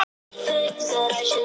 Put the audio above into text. Auðvitað voru fleiri strákar sætir.